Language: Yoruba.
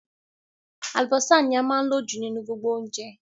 Àlùbọ́sà ní a máa ń lò jù nínú gbogbo oúnjẹ